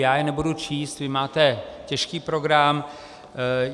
Já je nebudu číst, vy máte těžký program.